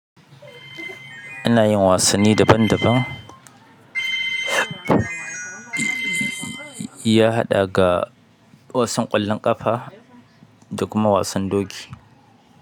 Ina yin wasanni daban-daban, ya haɗa ga wasan ƙwallon ƙafa da kuma wasan doki.